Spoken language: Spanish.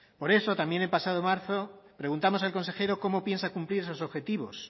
por eso también el pasado marzo preguntamos al consejero cómo piensa cumplir esos objetivos